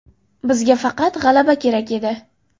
Bizga faqat g‘alaba kerak edi.